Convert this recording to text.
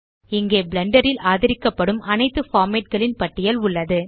இங்கே பிளெண்டர் ல் ஆதரிக்கப்படும் அனைத்து பார்மேட் களின் பட்டியல் உள்ளது